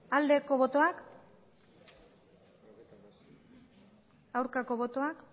aldeko botoak aurkako botoak